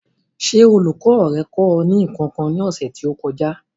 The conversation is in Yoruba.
Ṣé olùkọ́ rẹ kọ́ ọ ní nǹkan kan ní ọ̀sẹ̀ tí ó kọjá?